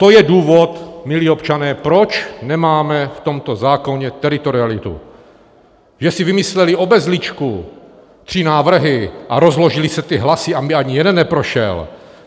To je důvod, milí občané, proč nemáme v tomto zákoně teritorialitu, že si vymysleli obezličku, tři návrhy, a rozložily se ty hlasy, aby ani jeden neprošel.